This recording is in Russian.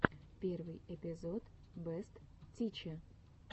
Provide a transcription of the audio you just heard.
первый эпизод бэст тиче